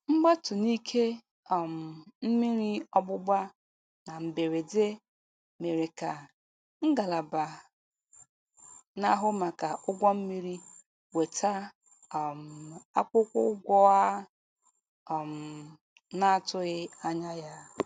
Mgbatu n'ike um mmiri ọgbụgba na mberede mere ka ngalaba na-ahụ maka ụgwọ mmiri weta um akwụkwọ ụgwọ a um na-atụghị anya ya. "